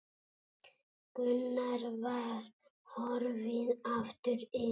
Gunnar var horfinn aftur inn.